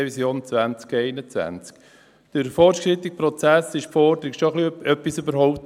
Durch den fortgeschrittenen Prozess wurde die Forderung schon etwas überholt.